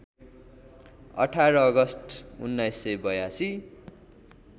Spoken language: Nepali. १८ अगस्ट १९८२